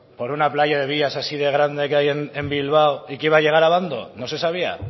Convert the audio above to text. por una playa de vías así de grande en bilbao y que iba a llegar a abando no se sabía